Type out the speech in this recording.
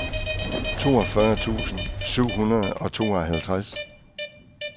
toogfyrre tusind syv hundrede og tooghalvtreds